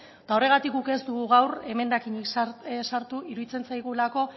eta horregatik guk ez dugu gaur emendakinik sartu iruditzen zaigulako